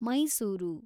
Mysuru